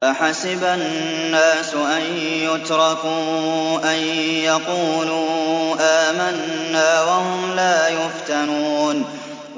أَحَسِبَ النَّاسُ أَن يُتْرَكُوا أَن يَقُولُوا آمَنَّا وَهُمْ لَا يُفْتَنُونَ